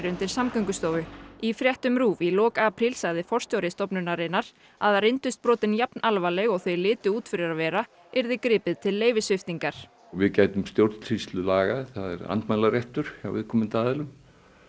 undir Samgöngustofu í fréttum RÚV í lok apríl sagði forstjóri stofnunarinnar að reyndust brotin jafn alvarleg og þau litu út fyrir að vera yrði gripið til leyfissviptingar við gætum stjórnsýslulaga og er andmælaréttur hjá viðkomandi aðilum